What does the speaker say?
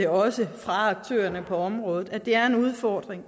også fra aktørerne på området at det er en udfordring